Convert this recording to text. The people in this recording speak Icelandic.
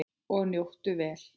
Og njóttu vel.